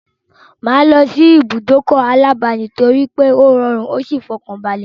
Mà á lọ sí ìbùdókọ̀ aláàdáni torípé ó rọrùn ó sì fọkànbalẹ̀.